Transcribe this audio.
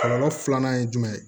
Kɔlɔlɔ filanan ye jumɛn ye